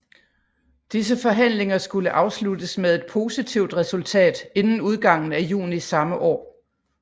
Disse forhandlinger skulle afsluttes med et positivt resultat inden udgangen af juni samme år